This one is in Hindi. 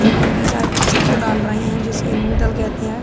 ऊपर की साइड छत डाला रहे हैं। जिसे लिन्टर कहते हैं।